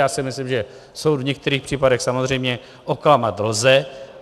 Já si myslím, že soud v některých případech samozřejmě oklamat lze.